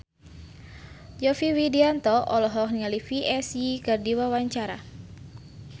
Yovie Widianto olohok ningali Psy keur diwawancara